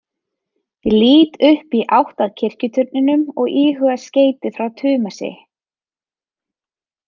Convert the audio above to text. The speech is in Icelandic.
Ég lít upp í átt að kirkjuturninum og íhuga skeytið frá Tumasi.